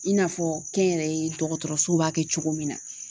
I n'a fɔ kɛnyɛrɛye dɔgɔtɔrɔsow b'a kɛ cogo min na.